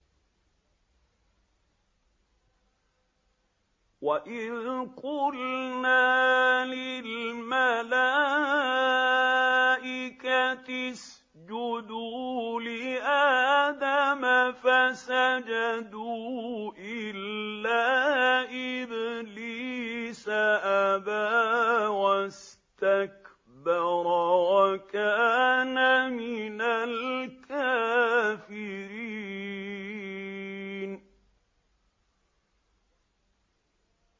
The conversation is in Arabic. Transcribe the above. وَإِذْ قُلْنَا لِلْمَلَائِكَةِ اسْجُدُوا لِآدَمَ فَسَجَدُوا إِلَّا إِبْلِيسَ أَبَىٰ وَاسْتَكْبَرَ وَكَانَ مِنَ الْكَافِرِينَ